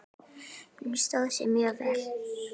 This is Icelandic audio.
Hún stóð sig mjög vel.